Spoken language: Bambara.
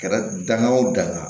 Kɛra danga o danna